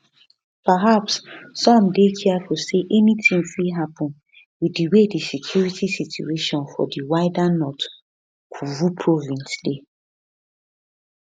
perhaps some dey careful say anytin fit happen with di way di security situation for di wider north kivu province dey